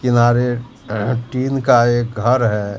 किनारे टीन का एक घर है।